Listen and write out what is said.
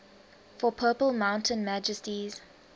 for purple mountain majesties